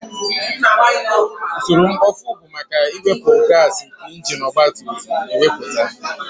Usoro mkpofu bụ maka iwepu gaasi nke injin ọgba tum tum na-emepụta